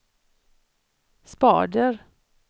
spader